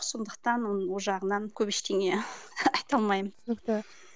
сондықтан оның ол жағынан көп ештеңе айта алмаймын түсінікті